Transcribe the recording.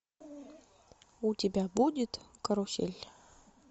у тебя будет карусель